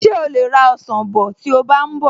Ṣé o lè ra ọsàn bọ̀ tí o bá ń bọ̀?